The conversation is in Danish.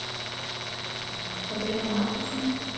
Rebecca Marcussen